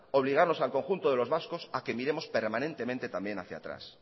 obligarnos al conjunto de los vascos a que miremos permanentemente también hacia atrás